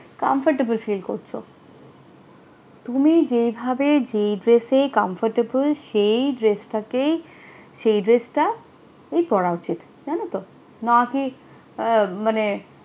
comfortable feel করছো তুমি যেভাবে যে dress সে comfortable সেই dress টা কি সেই dress টা ই পড়া উচিত না কি মানে